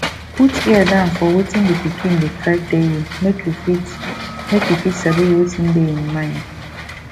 put ear down for wetin di pikin dey try tell you make you fit make you fit sabi wetin dey im mind